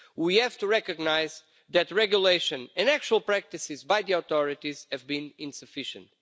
We have to recognise that regulation in actual practices by the authorities have been insufficient.